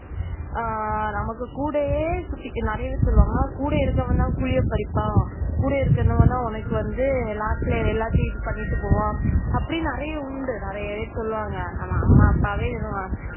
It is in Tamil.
ஆஹ் நமக்கு கூடவே சுத்தி நிறைய பேர் சொல்லுவாங்க கூடவே இருக்கிறவன் தான் குழிய பறிப்பான் கூட இருக்கிறவங்க தான் வந்து last ல எல்லாத்தையும் இது பண்ணிட்டு போவாங்க அப்படின்னு நிறைய உண்டு நிறைய பேர் சொல்லுவாங்க. நம்ம அம்மா அப்பாவை சொல்லுவாங்க.